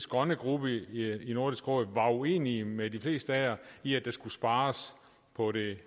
grønne gruppe i nordisk råd var uenige med de fleste af jer i at der skulle spares på det